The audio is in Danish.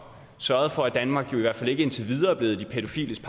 sørgede for at danmark i hvert fald ikke indtil videre er blevet de pædofiles